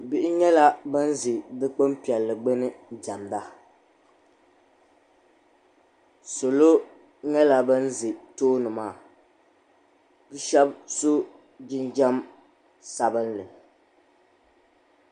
Bihi nyɛla ban ʒe dukpuni piɛlli gbuni diɛmda salo nyɛla ban ʒe tooni maa bɛ shɛba so jinjam sabinli .